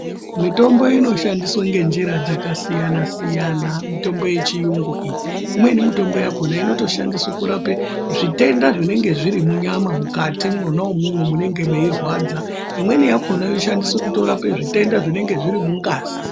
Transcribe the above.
Mitombo inoshandiswe ngenjira dzakasiyana siyana mitombo yechiyungu iyi, imweni mitombo yakona inotoshandiswe kurape zvitenda zvinenge zvirimunyama mukati mwona umwomwo munenge meirwadza imweni yakona yoshandiswe kutorape zvitenda zvinenge zvirimungazi.